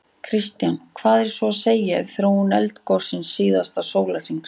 Kristján: Hvað er svo að segja af þróun eldgossins síðasta sólarhringinn?